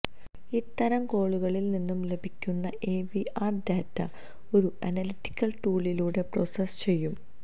ഇത്തരം കോളുകളില്നിന്നു ലഭിക്കുന്ന ഐവിആര് ഡേറ്റ ഒരു അനലിറ്റിക്കല് ടൂളിലൂടെ പ്രോസസ് ചെയ്യും